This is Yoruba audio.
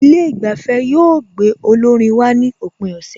Ilé ìgbafẹ́ yóò gbé olórin wá ní òpin ọ̀sẹ̀